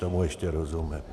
Tomu ještě rozumím.